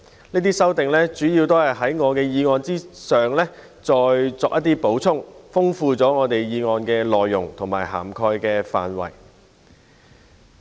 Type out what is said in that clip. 這些修訂主要是在我的議案上再作補充，豐富了議案的內容和擴闊了涵蓋範圍。